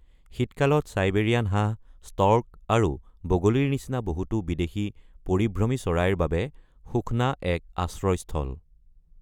শীতকালত চাইবেৰিয়ান হাঁহ, ষ্টৰ্ক আৰু বগলিৰ নিচিনা বহুতো বিদেশী পৰিভ্ৰমী চৰাইৰ বাবে সুখনা এক আশ্ৰয়স্থল।